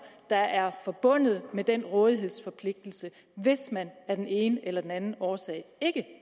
der er forbundet med den rådighedsforpligtelse hvis man af den ene eller den anden årsag ikke